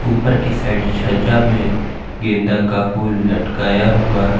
ऊपर की साइड छज्जा में गेंदा का फूल लटकाया हुआ है।